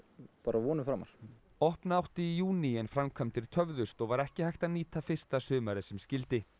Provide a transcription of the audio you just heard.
vonum framar opna átti í júní en framkvæmdir töfðust og ekki var hægt að nýta fyrsta sumarið sem skyldi